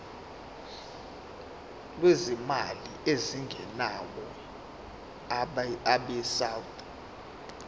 lwezimali ezingenayo abesouth